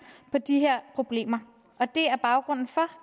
på de her problemer og det er baggrunden for